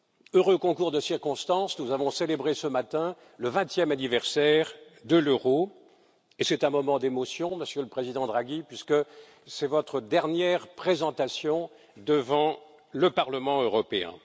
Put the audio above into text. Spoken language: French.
Heureux concours de circonstances, nous avons célébré ce matin le vingtième anniversaire de l'euro, et c'est un moment d'émotion, Monsieur le Président Draghi, puisque c'est votre dernière présentation devant le Parlement européen.